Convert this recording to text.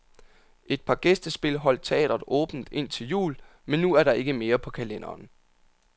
Et par gæstespil holdt teatret åbent indtil jul, men nu er der ikke mere på kalenderen.